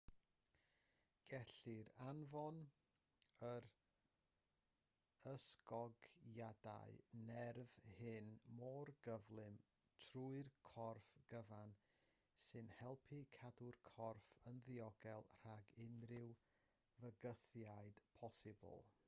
gellir anfon yr ysgogiadau nerf hyn mor gyflym trwy'r corff cyfan sy'n helpu cadw'r corff yn ddiogel rhag unrhyw fygythiad posibl